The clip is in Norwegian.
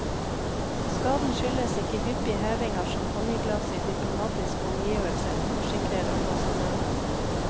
Skaden skyldes ikke hyppig heving av champagneglass i diplomatiske omgivelser, forsikrer ambassadøren.